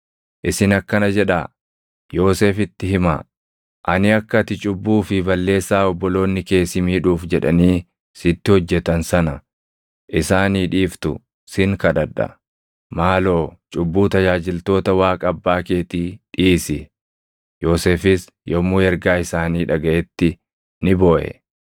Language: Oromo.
‘Isin akkana jedhaa Yoosefitti himaa; ani akka ati cubbuu fi balleessaa obboloonni kee si miidhuuf jedhanii sitti hojjetan sana isaanii dhiiftu sin kadhadha.’ Maaloo cubbuu tajaajiltoota Waaqa abbaa keetii dhiisi.” Yoosefis yommuu ergaa isaanii dhagaʼetti ni booʼe.